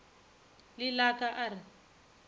le la ka a re